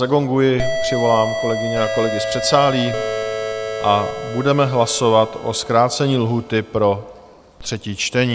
Zagonguji, přivolám kolegyně a kolegy z předsálí a budeme hlasovat o zkrácení lhůty pro třetí čtení.